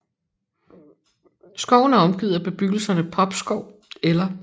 Skoven er omgivet af bebyggelserne Popskov el